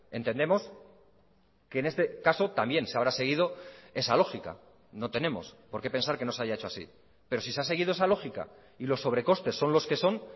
entendemos que en este caso también se habrá seguido esa lógica no tenemos porqué pensar que no se haya hecho así pero si se ha seguido esa lógica y los sobre costes son los que son